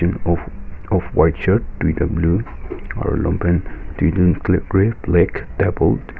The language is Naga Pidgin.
off offwhite shirt duita blue aru longpant duidun grey grey black table .